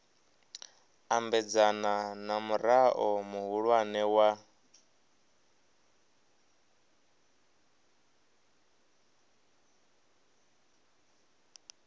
ambedzana na murao muhulwane wa